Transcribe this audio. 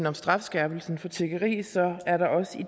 om strafskærpelse for tiggeri så er der også i